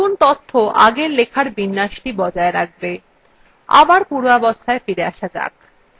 নতুন তথ্য আগের লেখার বিন্যাসটি বজায় রাখবে